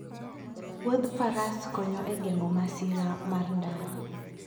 wuodh faras konyo e geng'o masira mar ndara.